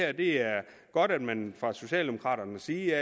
at det er godt at man fra socialdemokraternes side